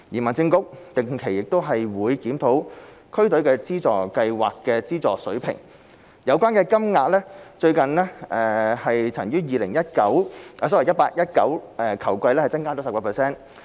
民政局定期檢討區隊資助計劃的資助水平，有關金額最近曾於 2018-2019 球季增加 10%。